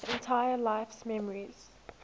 entire life's memories